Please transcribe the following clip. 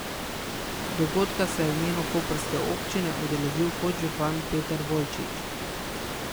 Dogodka se je v imenu koprske občine udeležil podžupan Peter Bolčič.